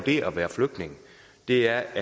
det at være flygtning er